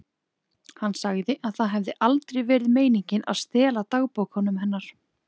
Hann sagði að það hefði aldrei verið meiningin að stela dagbókunum hennar.